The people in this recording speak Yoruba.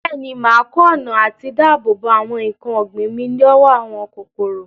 Bẹ́ẹ̀ni, mà á kọ́ ọ̀nà àti dáàbò bo àwọn nǹkan ọ̀gbìn mi lọ́wọ́ àwọn kòkòrò.